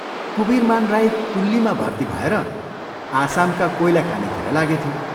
कुवीरमान राई कुल्लीमा भर्ती भएर आसामका कोइला खानितिर लागेथ्यो।